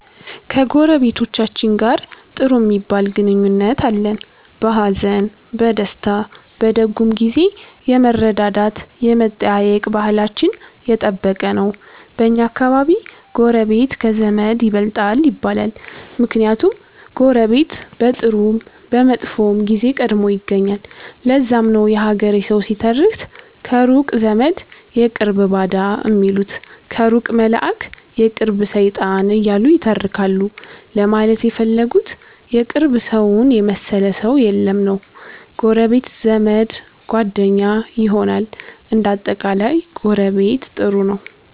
ከጎረቤቶቻችን ጋር ጥሩ ሚባል ግንኙነት አለን። በሀዘን፣ በደስታ፣ በደጉም ጊዜ የመረዳዳት የመጠያየቅ ባህላችን የጠበቀ ነው። በኛ አከባቢ ጎረቤት ከዘመድ ይበልጣል ይባላል። ምክንያቱም ጎረቤት በጥሩም በመጥፎም ጊዜ ቀድሞ ይገኛል። ለዛም ነው የሀገሬ ሠዉ ሲተርት ከሩቅ ዘመድ የቅርብ ባዳ ሚሉት ከሩቅ መላእክ የቅርብ ሠይጣን እያሉ ይተረካሉ ለማለት የፈለጉት የቅርብ ሠውን የመሠለ ሠው የለም ነዉ። ጎረቤት ዘመድ፣ ጓደኛ ይሆናል። እንደ አጠቃላይ ጎረቤት ጥሩ ነው።